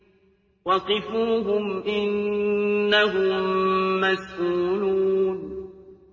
وَقِفُوهُمْ ۖ إِنَّهُم مَّسْئُولُونَ